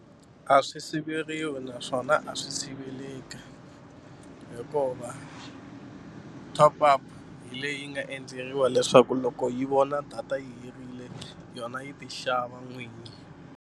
A swi siveriwi naswona a swi siveleki hikuva top-up hi leyi nga endleriwa leswaku loko yi vona data yi herile yona yi ti xava n'wini.